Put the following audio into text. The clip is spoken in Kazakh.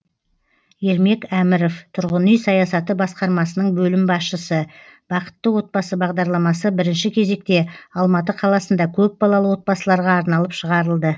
ермек әміров тұрғын үй саясаты басқармасының бөлім басшысы бақытты отбасы бағдарламасы бірінші кезекте алматы қаласында көпбалалы отбасыларға арналып шығарылды